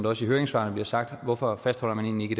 også i høringssvarene bliver sagt hvorfor fastholder man egentlig